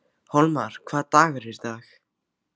Hólmar, hvaða dagur er í dag?